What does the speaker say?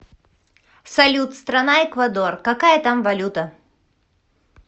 салют страна эквадор какая там валюта